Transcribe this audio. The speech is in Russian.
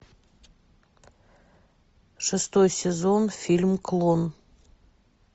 шестой сезон фильм клон